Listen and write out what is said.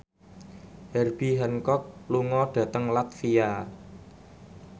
Herbie Hancock lunga dhateng latvia